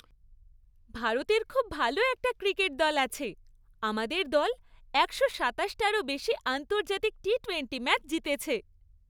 ভারতের খুব ভালো একটা ক্রিকেট দল আছে। আমাদের দল একশো সাতাশটারও বেশি আন্তর্জাতিক টি টোয়েন্টি ম্যাচ জিতেছে।